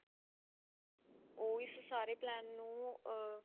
ਉਹ ਇਸ ਸਾਰੇ plan ਨੂੰ ah